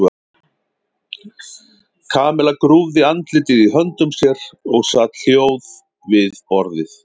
Kamilla grúfði andlitið í höndum sér og sat hljóð við borðið.